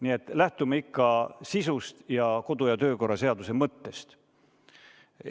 Nii et lähtume ikka sisust ning kodu- ja töökorra seaduse mõttest.